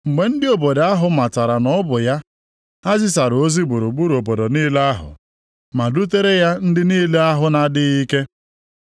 Mgbe ndị obodo ahụ matara na ọ bụ ya, ha zisara ozi gburugburu obodo niile ahụ, ma dutere ya ndị niile ahụ na-adịghị ike.